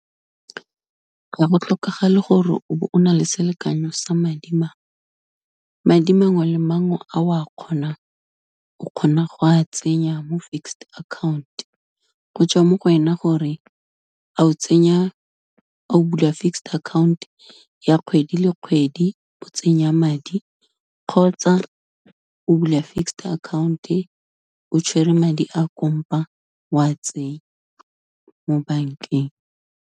Ga go tlhokagale gore o be o na le selekanyo sa madi mangwe. Madi mangwe le mangwe a o a kgonang, o kgona go a tsenya mo fixed account, go tswa mo go wena gore a o tsenya, a o bula fixed account ya kgwedi le kgwedi, o tsenya madi, kgotsa o bula fixed account o tshwere madi a wa tsenya mo bankeng.